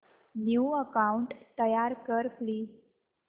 new account तयार कर please